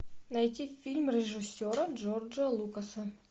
найти фильм режиссера джорджа лукаса